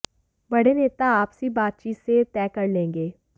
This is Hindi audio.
बड़े नेता आपसी बातचीत से यह तय कर लेंगे